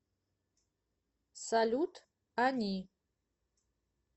салют они